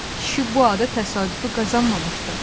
Kişi bu adı təsadüfi qazanmamışdı.